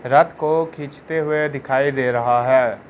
रात को खींचते हुए दिखाई दे रहा है।